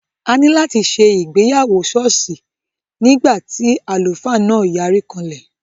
A ní láti ṣe ìgbéyàwó sọ́ọ̀sì nígbà tí àlùfáà náà yarí kanlẹ̀.